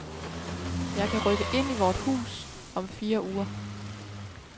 Jeg kan rykke ind i vort nye hus om fire uger.